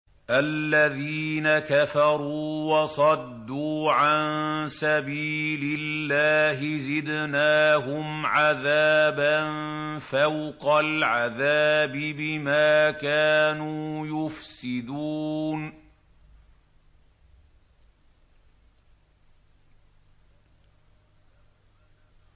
الَّذِينَ كَفَرُوا وَصَدُّوا عَن سَبِيلِ اللَّهِ زِدْنَاهُمْ عَذَابًا فَوْقَ الْعَذَابِ بِمَا كَانُوا يُفْسِدُونَ